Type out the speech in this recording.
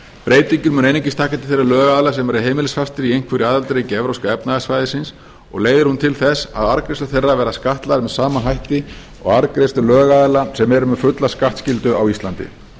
breytingin mun einungis taka til þeirra lögaðila sem eru heimilisfastir í einhverju aðildarríki evrópska efnahagssvæðisins og leiðir hún til þess að arðgreiðslur þeirra verða skattlagðar með sama hætti og arðgreiðslur lögaðila sem eru með fulla skattskyldu á íslandi